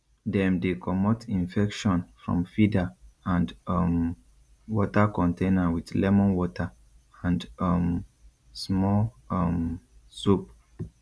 dem dey comot infection from feeder and um water container with lemon water and um small um soap